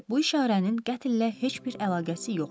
Deməli, bu işarənin qətllə heç bir əlaqəsi yoxdur.